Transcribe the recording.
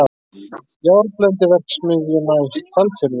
Járnblendiverksmiðjuna í Hvalfirði.